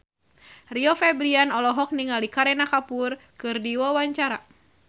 Rio Febrian olohok ningali Kareena Kapoor keur diwawancara